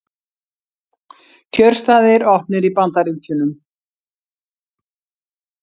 Kjörstaðir opnir í Bandaríkjunum